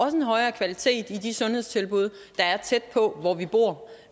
en højere kvalitet i de sundhedstilbud der er tæt på hvor vi bor